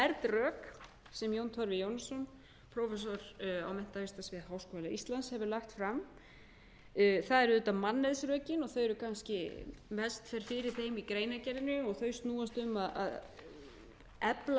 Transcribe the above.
rök sem jón torfi jónsson prófessor á menntavísindasviði háskóla íslands hefur lagt fram það eru auðvitað mannauðsrökin og þau eru kannski mest fer fyrir þeim í greinargerðinni og þau snúa sum að því að